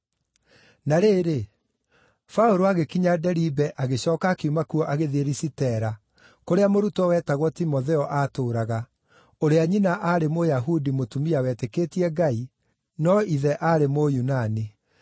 Na rĩrĩ, Paũlũ agĩkinya Deribe agĩcooka akiuma kuo agĩthiĩ Lisitera, kũrĩa mũrutwo wetagwo Timotheo aatũũraga, ũrĩa nyina aarĩ Mũyahudi mũtumia wetĩkĩtie Ngai, no ithe aarĩ Mũyunani.